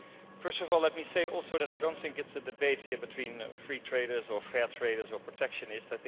First of all, let me also say that I do not think it is a debate here between free traders or fair traders or protectionists.